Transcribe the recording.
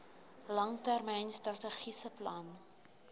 langtermyn strategiese plan